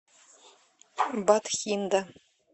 батхинда